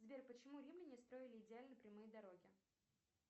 сбер почему римляне строили идеально прямые дороги